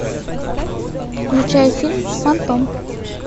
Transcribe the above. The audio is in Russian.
включай фильм фантом